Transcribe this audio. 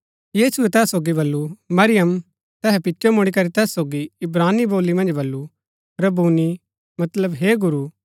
यीशुऐ तैहा सोगी बल्लू मरियम तैहै पिचो मुड़ीकरी तैस सोगी इब्रानी बोली मन्ज बल्लू रब्बूनी मतलब हे गुरू